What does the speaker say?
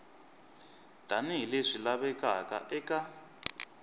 tani hi leswi lavekaka eka